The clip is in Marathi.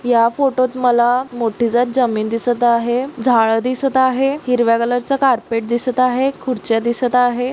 या फोटोत मला मोठी त्यात जमीन दिसत आहे झाड दिसत आहे. हिरव्या कलर चा कारपेट दिसत आहे खुर्च्या दिसत आहे.